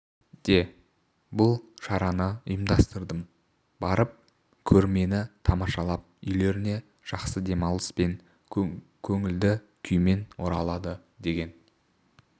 де бұл шараны ұйымдастырдым барып көрмені тамашалап үйлеріне жақсы демалыс пен көңілді күймен оралады деген